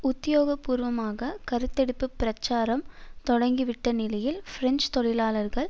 உத்தியோகபூர்வமாக கருத்தெடுப்புப் பிரச்சாரம் தொடங்கிவிட்ட நிலையில் பிரெஞ்சு தொழிலாளர்கள்